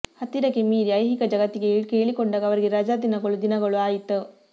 ಹತ್ತಿರಕ್ಕೆ ಮೀರಿ ಐಹಿಕ ಜಗತ್ತಿಗೆ ಕೇಳಿಕೊಂಡಾಗ ಅವರಿಗೆ ರಜಾದಿನಗಳು ದಿನಗಳ ಆಯಿತು